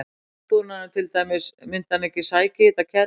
Myndi landbúnaðurinn til dæmis, myndi hann ekki sækja í þetta kerfi?